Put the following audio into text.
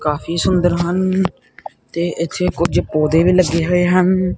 ਕਾਫੀ ਸੁੰਦਰ ਹਨ ਤੇ ਇੱਥੇ ਕੁਝ ਪੌਦੇ ਵੀ ਲੱਗੇ ਹੋਏ ਹਨ।